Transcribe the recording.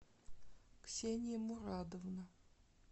ксения мурадовна